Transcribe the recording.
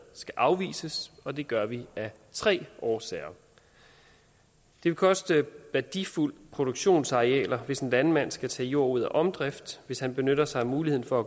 skal afvises og det gør vi af tre årsager det vil koste værdifulde produktionsarealer hvis en landmand skal tage jord ud af omdrift hvis han benytter sig af muligheden for